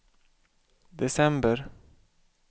december